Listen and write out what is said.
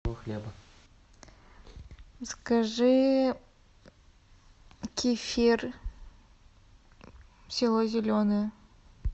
закажи кефир село зеленое